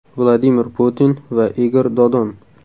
Vladimir Putin va Igor Dodon.